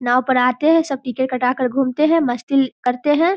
नाव पर आते हैं। सब टिकट कटाकर धूमते हैं मस्ती करते हैं।